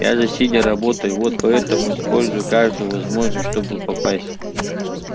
я же сидя работаю вот поэтому использую каждую возможность чтобы попасть